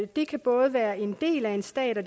det kan både være en del af en stat og